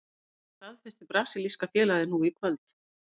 Þetta staðfesti brasilíska félagið nú í kvöld.